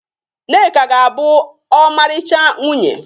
Nneka ga-abụ ọmarịcha nwunye